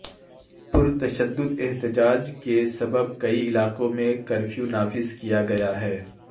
پر تشدد احتجاج کے سبب کئی علاقوں میں کرفیونافذکیاگیا ہے